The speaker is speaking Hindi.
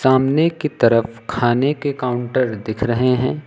सामने की तरफ खाने के काउंटर दिख रहे हैं।